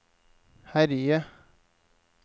herje